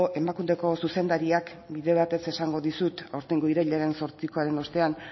emakundeko zuzendariak bide batez esango dizut aurtengo irailean zortzikoaren ostean